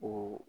O